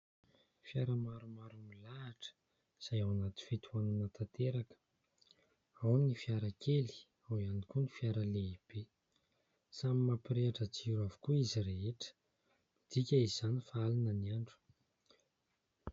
Fiara maromaro milahatra izay ao anaty fitohanana tanteraka, ao ny fiara kely, ao ihany koa ny fiara lehibe, samy mampirehitra jiro avokoa izy rehetra, midika izany fa alina ny andro.